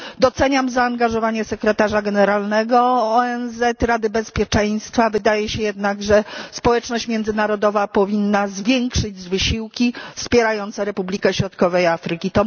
Doceniam zaangażowanie sekretarza generalnego ONZ, Rady Bezpieczeństwa, wydaje się jednak, że społeczność międzynarodowa powinna zwiększyć wysiłki wspierające Republikę Środkowej Afryki.